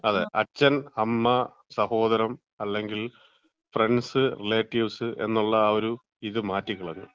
അതെ അച്ഛൻ അമ്മ, സഹോദരൻ അല്ലെങ്കിൽ ഫ്രണ്ട്സ് റിലേറ്റീവ്സ് എന്നുള്ള ആ ഒരു ഇത് മാറ്റിക്കളഞ്ഞു.